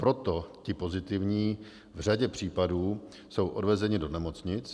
Proto ti pozitivní v řadě případů jsou odvezeni do nemocnic.